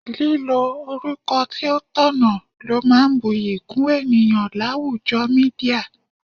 Lílo orúkọ tí ó tọ̀nà ló máa ń bu'yi kún ènìyàn láwùjọ Mídíà.